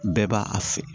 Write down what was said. Bɛɛ b'a a fɛ